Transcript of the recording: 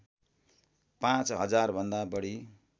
पाच हजारभन्दा बढी